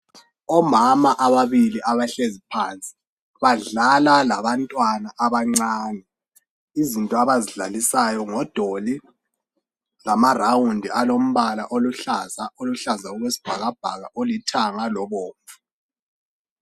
Omama ababili abahlezi phansi badlala labantwana abancane izinto abazidlalisayo ngodoli lama rawundi alombala oluhlaza oluhlaza okwesibhakabhaka olithanga lobomvu